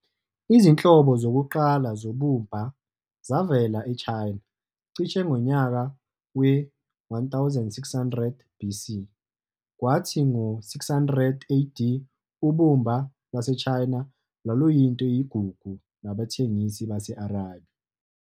Izinhlobo zokuqala zobumba zavela eChina cishe ngonyaka we-1600BC, kwathi ngo-600AD, ubumba lwaseChina lwaluyinto eyigugu nabathengisi base-Arabia.